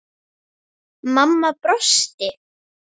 Svo vel náðum við saman.